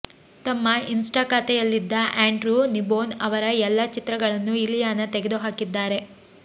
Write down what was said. ತಮ್ಮ ಇನ್ಸ್ಟಾ ಖಾತೆಯಲ್ಲಿದ್ದ Andrew Kneebone ಅವರ ಎಲ್ಲಾ ಚಿತ್ರಗಳನ್ನು ಇಲಿಯಾನ ತೆಗೆದುಹಾಕಿದ್ದಾರೆ